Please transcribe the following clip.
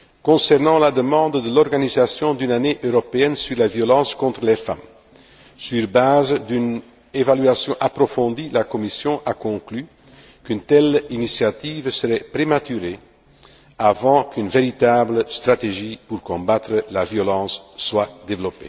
Concernant la demande de l'organisation d'une année européenne sur la violence contre les femmes, sur la base d'une évaluation approfondie, la Commission a conclu qu'une telle initiative serait prématurée avant qu'une véritable stratégie pour combattre la violence soit élaborée.